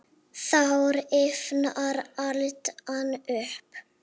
Þá rifnar aldan upp.